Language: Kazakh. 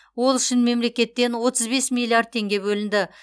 ол үшін мемлекеттен отыз бес миллиард теңге бөлінді